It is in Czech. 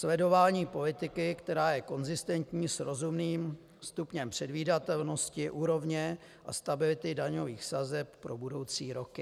Sledování politiky, která je konzistentní s rozumným stupněm předvídatelnosti úrovně a stability daňových sazeb pro budoucí roky.